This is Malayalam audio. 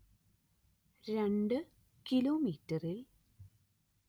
രണ്ട്‌ കിലോമീറ്ററിൽ